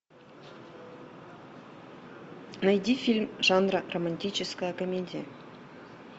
найди фильм жанра романтическая комедия